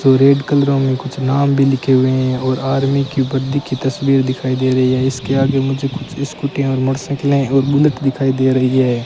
तो रेड कलरो में कुछ नाम भी लिखे हुए हैं और आर्मी की बत्ती की तस्वीर दिखाई दे रही है इसके आगे मुझे कुछ स्कूटी और मोटरसाइकिल है और बुलेट दिखाई दे रही है।